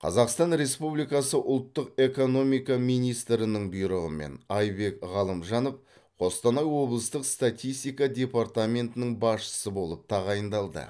қазақстан республикасы ұлттық экономика министрінің бұйрығымен айбек ғалымжанов қостанай облыстық статистика департаментінің басшысы болып тағайындалды